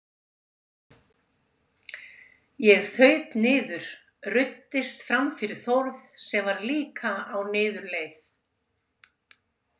Ég þaut niður, ruddist fram fyrir Þórð sem líka var á niðurleið.